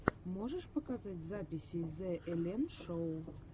можешь показать записи зе эллен шоу